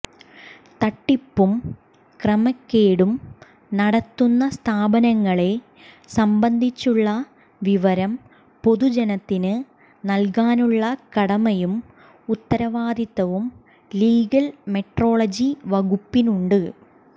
തട്ടിപ്പും ക്രമക്കേടും നടത്തുന്ന സ്ഥാപനങ്ങളെ സംബന്ധിച്ചുള്ള വിവരം പൊതുജനത്തിന് നൽകാനുള്ള കടമയും ഉത്തരവാദിത്തവും ലീഗൽ മെട്രോളജി വകുപ്പിനുണ്ട്